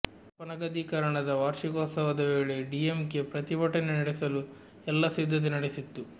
ಅಪನಗದೀಕರಣದ ವಾರ್ಷಿಕೋತ್ಸವದ ವೇಳೆ ಡಿಎಂಕೆ ಪ್ರತಿಭಟನೆ ನಡೆಸಲು ಎಲ್ಲ ಸಿದ್ಧತೆ ನಡೆಸಿತ್ತು